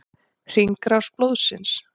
Hringrás blóðsins.